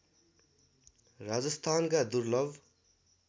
राजस्थानका दुर्लभ